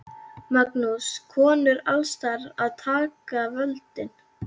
Magnús: Konur alls staðar að taka völdin?